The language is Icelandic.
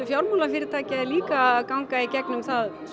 fjármálafyrirtækja er líka að ganga í gegnum